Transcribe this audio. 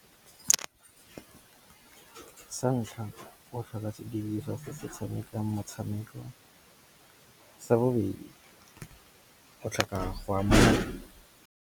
Sa ntlha o tlhoka se diriswa se se tshamekang motshameko, sa bobedi go tlhoka go ama.